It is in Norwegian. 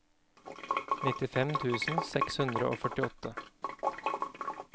nittifem tusen seks hundre og førtiåtte